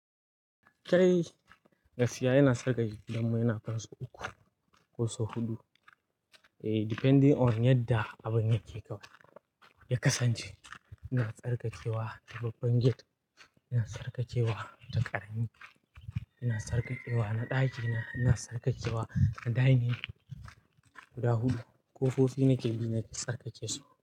Kai, gaskiya yana saka gidanmu yana kai sau uku ko sau huɗu. Eh, depending on yadda abun yake kawai ya kasance. Ina tsarkakewa ta babban gate, ina tsarkakewa ta ƙarami, ina tsarkakewa na ɗaki na, ina tsarkakewa na dining guda huɗu. Ƙofofi nake bi na tsarkakesu.